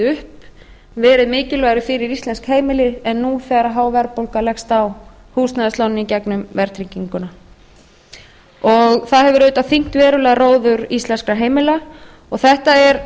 upp verið mikilvægari fyrir íslensk heimili en nú þegar há verðbólga leggst á húsnæðislánin í gegnum verðtrygginguna og það hefur auðvitað þyngt verulega róður íslenskra heimila það er